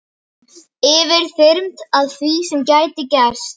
Yfirþyrmd af því sem gæti gerst.